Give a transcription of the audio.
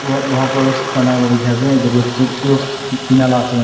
aru loha para roofs banai lah dikhi ase etu roofs tu tina laga ase.